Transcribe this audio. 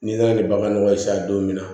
N'i nana ni bagan nɔgɔ ye sa don min na